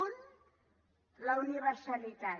un la universalitat